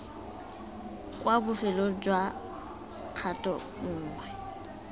kwa bofelong jwa kgato nngwe